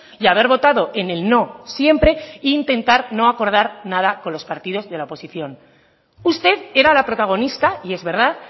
y haber votado en el no siempre e intentar no acordar nada con los partidos de la oposición usted era la protagonista y es verdad